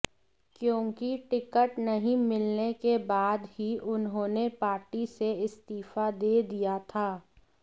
क्योंकि टिकट नहीं मिलने के बाद ही उन्होंने पार्टी से इस्तीफा दे दिया था